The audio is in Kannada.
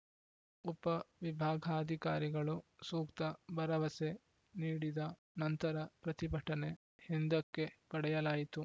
ಉಪವಿಭಾಗಾಧಿಕಾರಿಗಳು ಸೂಕ್ತ ಭರವಸೆ ನೀಡಿದ ನಂತರ ಪ್ರತಿಭಟನೆ ಹಿಂದಕ್ಕೆ ಪಡೆಯಲಾಯಿತು